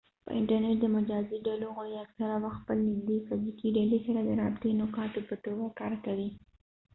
په انټرنټ د مجازي ډلو غړي اکثره وخت خپل نږدني فزیکي ډلې سره د رابطې نقاطو په توګه کار کوي